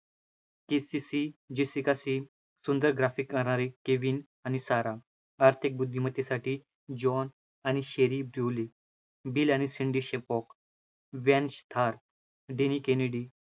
JCC Jessica सी, सुंदर graphic गाणारी, केविन आणि सारा आर्थिक बुद्धिमत्तेसाठी जॉन आणि , बिल आणि , वेंच थॉर,